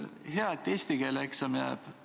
Hea, et eesti keele eksam jääb.